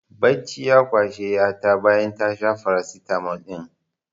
Bacci ya kwashe ƴa ta bayan ta sha farasitamol ɗin